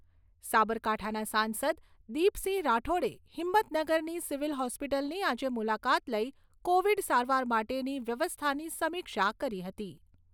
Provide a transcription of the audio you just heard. સાબરકાંઠાના સાંસદ દીપસિંહ રાઠોડે હિંમતનગરની સિવિલ હોસ્પિટલની આજે મુલાકાત લઈ કોવિડ સારવાર માટેની વ્યવસ્થાની સમિક્ષા કરી હતી.